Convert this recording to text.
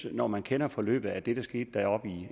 at når man kender forløbet af det der skete deroppe